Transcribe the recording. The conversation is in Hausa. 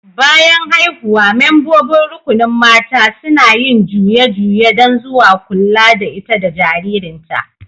Bayan haihuwa, membobin rukunin mata suna yin juye-juye dan zuwa kulla da ita da jaririn ta.